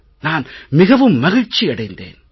நான் மிகவும் மகிழ்ச்சி அடைந்தேன்